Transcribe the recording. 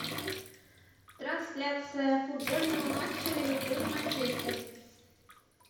трансляция футбольного матча ливерпуль и манчестер